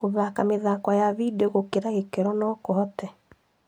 Gũthaka mĩthako ya vindio gũkĩra gĩkĩro no kũhote